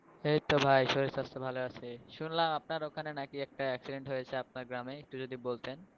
এইতো ভাই শরীর স্বাস্থ্য ভালো আছে, শুনলাম আপনার ওখানে নাকি একটা accident হয়েছে আপনার গ্রামে একটু যদি বলতেন।